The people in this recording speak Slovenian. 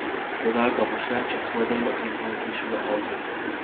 Prodal ga boš le, če svoje delo izvoziš v Azijo.